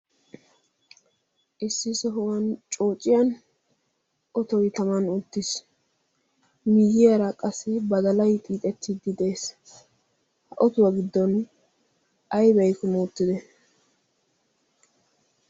issi sohuwan coociyan otoi taman unttiis miyiyaara qassi badalai xiixettiddi de'es ha otuwaa giddon aibai kumuuttide